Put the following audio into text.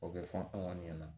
O bɛ fɔ anw ɲɛna